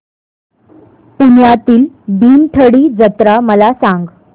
पुण्यातील भीमथडी जत्रा मला सांग